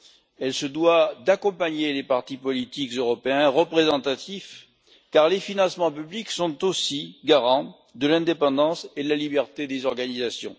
Elle se doit d'accompagner les partis politiques européens représentatifs, car les financements publics sont aussi garants de l'indépendance et de la liberté des organisations.